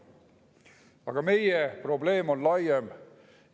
Aga meie probleem on laiem.